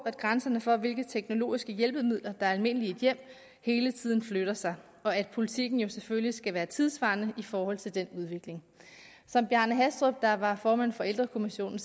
at grænserne for hvilke teknologiske hjælpemidler der er almindelige i et hjem hele tiden flytter sig og at politikken jo selvfølgelig skal være tidssvarende i forhold til den udvikling som bjarne hastrup der var formand for ældrekommissionen